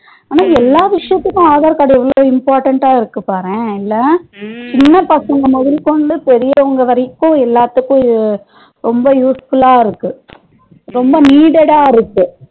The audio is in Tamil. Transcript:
ஆனா எல்லா விசயத்துக்கும் aadhar card எவ்ளோ important டா இருக்கு பாரேன் இல்ல சின்ன பசங்க மோதுகொண்டு பெரியவங்க வரைக்கும் எல்லாத்துக்கும் ரொம்ப useful லா இருக்கு ரொம்ப needed டா இருக்கு